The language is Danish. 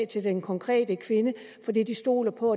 til den konkrete kvinde fordi de stoler på